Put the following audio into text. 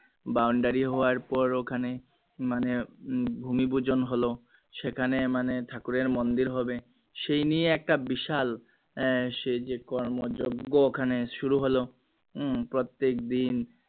boundary হওয়ার পর ওখানে মানে ভূমিপূজন হলো সেখানে মানে ঠাকুরের মন্দির হবে সেই নিয়ে একটা বিশাল আহ সে যে কর্ম যোগ্য ওখানে শুরু হল উম প্রত্যেকদিন